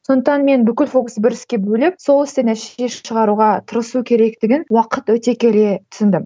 сондықтан мен бүкіл фокусты бір іске бөлек сол істен нәтиже шығаруға тырысу керектігін уақыт өте келе түсіндім